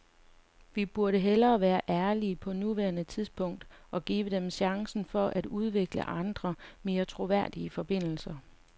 Vi burde hellere være ærlige på nuværende tidspunkt og give dem chancen for at udvikle andre, mere troværdige forbindelser.